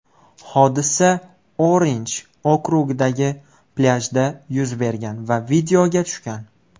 Hodisa Orinj okrugidagi plyajda yuz bergan va videoga tushgan.